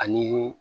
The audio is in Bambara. Ani